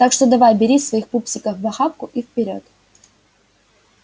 так что давай бери своих пупсиков в охапку и вперёд